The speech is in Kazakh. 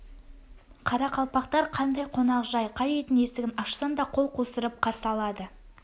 қарақалпақтар қандай қонақжай қай үйдің есігін ашсаң да қол қусырып қарсы алады